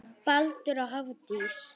Baldur og Hafdís.